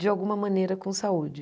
de alguma maneira com saúde.